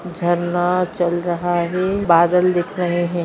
झरना चल रहा है बदाल दिख रहे है।